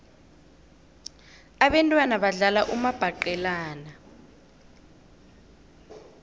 abentwana badlala umabhaqelana